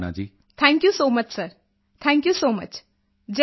ਭਾਵਨਾ thank you so much sir thank you so much ਜੈ ਹਿੰਦ ਸਰ